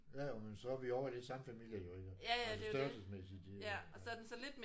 Jo jo men så er vi ovre det er samme familie jo iggå altså størrelsesmæssigt de er